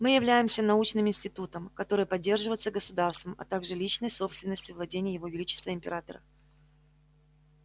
мы являемся научным институтом который поддерживается государством а также личной собственностью владений его величества императора